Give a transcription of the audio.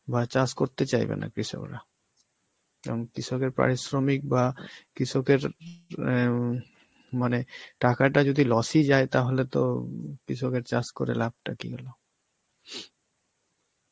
করতে চাইবে না কৃষকরা. কারণ কৃষকের পারিশ্রমিক বা কৃষকের এর উম মানে টাকাটা যদি loss এই যায় তাহলে তো কৃষকের চাষ করে লাভটা কি হল?